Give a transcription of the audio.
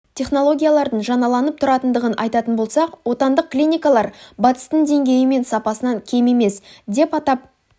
технологиялардың жаңаланып тұратындығын айтатын болсақ отандық клиникалар батыстың деңгейі мен сапасынан кем емес деп атап